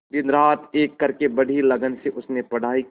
दिनरात एक करके बड़ी ही लगन से उसने पढ़ाई की